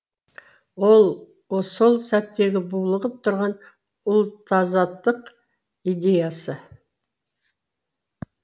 ол сол сәттегі булығып тұрған ұлтазаттық идеясы